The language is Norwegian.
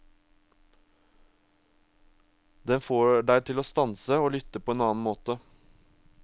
Den får deg til å stanse og lytte på en annen måte.